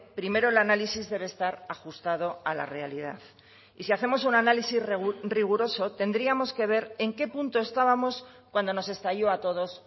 primero el análisis debe estar ajustado a la realidad y si hacemos un análisis riguroso tendríamos que ver en qué punto estábamos cuando nos estalló a todos